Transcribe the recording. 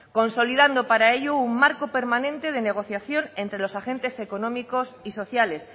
consolidando para ello un marco permanente de negociación entre los agentes económicos y sociales